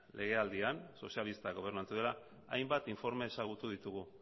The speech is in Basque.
legealdian sozialistak gobernatu duela hainbat informe ezagutu ditugu